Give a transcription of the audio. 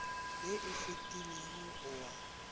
ye e fetilego o a